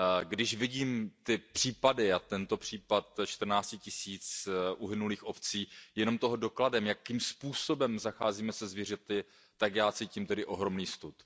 Když vidím ty případy a tento případ čtrnácti tisíc uhynulých ovcí je toho dokladem jakým způsobem zacházíme se zvířaty, tak já cítím ohromný stud.